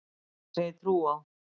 Ég geri það sem ég trúi á.